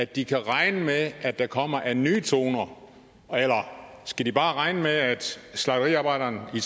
de kan regne med at der kommer af nye toner eller skal de bare regne med at slagteriarbejderne i